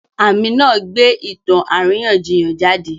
Àmì náà gbé ìtàn àríyànjiyàn jáde.